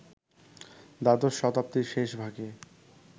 দ্বাদশ শতাব্দীর শেষ ভাগে